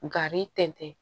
Gari tɛntɛn